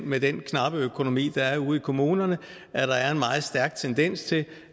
med den knappe økonomi der er ude i kommunerne at der er en meget stærk tendens til